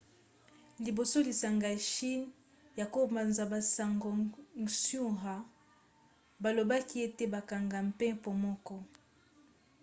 liboso lisanga ya chine ya kopanza-basango xinhua balobaki ete bakangi mpepo moko